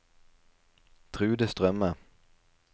Trude Strømme